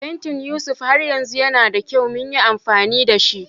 Fantin Yusuf har yanzu yana da kyau mu yi amfani da shi